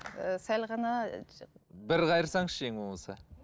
ііі сәл ғана бір қайырсаңызшы ең болмаса